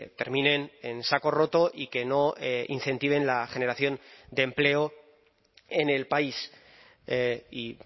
terminen en saco roto y que no incentiven la generación de empleo en el país y